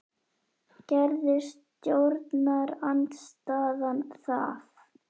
Gerði stjórnarandstaðan það?